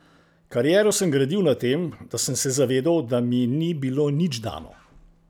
Kariero sem gradil na tem, da sem se zavedal, da mi ni bilo nič dano.